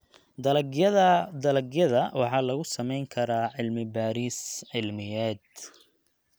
Dalagyada dalagyada waxaa lagu samayn karaa cilmi-baaris cilmiyeed.